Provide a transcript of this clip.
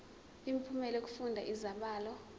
imiphumela yokufunda izibalo